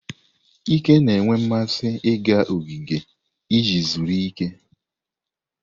Ike na-enwe mmasị ịga ogige iji zuru ike.